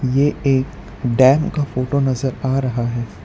ये एक डेम का फोटो नजर आ रहा है।